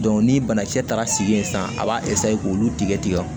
ni banakisɛ taara sigi yen sisan a b'a k'olu tigɛ tigɛ